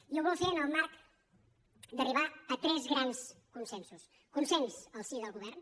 i ho vol fer en el marc d’arribar a tres grans consensos consens al si del govern